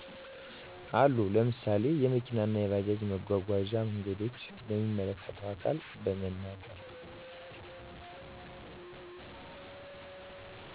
አሉ። ለምሳሌ የመኪና እና የባጃጅ መጓጓዣ መንገዶች። ለሚመለከተው አካል በመናገር